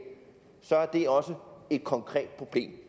det er også et konkret problem